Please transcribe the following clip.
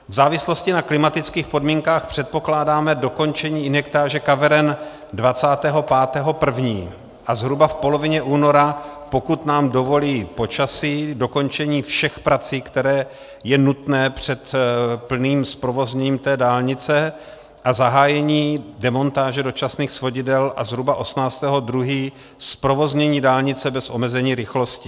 V závislosti na klimatických podmínkách předpokládáme dokončení injektáže kaveren 25. 1. a zhruba v polovině února, pokud nám dovolí počasí, dokončení všech prací, které je nutné před plným zprovozněním té dálnice a zahájení demontáže dočasných svodidel a zhruba 18. 2. zprovoznění dálnice bez omezení rychlosti.